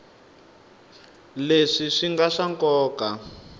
leswi swi nga swa nkoka